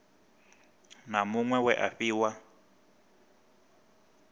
na muṅwe we a fhiwa